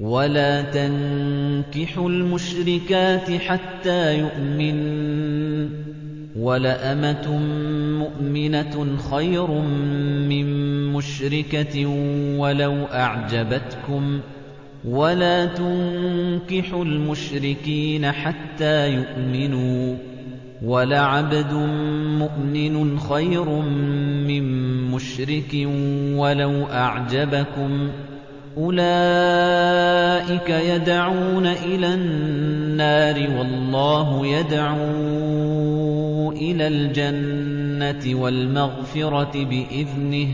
وَلَا تَنكِحُوا الْمُشْرِكَاتِ حَتَّىٰ يُؤْمِنَّ ۚ وَلَأَمَةٌ مُّؤْمِنَةٌ خَيْرٌ مِّن مُّشْرِكَةٍ وَلَوْ أَعْجَبَتْكُمْ ۗ وَلَا تُنكِحُوا الْمُشْرِكِينَ حَتَّىٰ يُؤْمِنُوا ۚ وَلَعَبْدٌ مُّؤْمِنٌ خَيْرٌ مِّن مُّشْرِكٍ وَلَوْ أَعْجَبَكُمْ ۗ أُولَٰئِكَ يَدْعُونَ إِلَى النَّارِ ۖ وَاللَّهُ يَدْعُو إِلَى الْجَنَّةِ وَالْمَغْفِرَةِ بِإِذْنِهِ ۖ